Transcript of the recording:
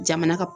Jamana ka